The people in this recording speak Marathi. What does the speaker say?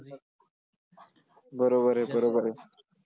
बरोबर आहे, बरोबर आहे.